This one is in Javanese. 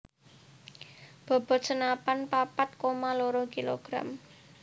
Bobot senapan papat koma loro kilogram